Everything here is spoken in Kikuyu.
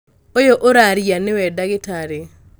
ũyũ ũraria nĩwe ndagĩtarĩ